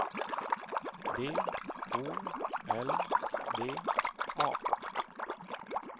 D O L D A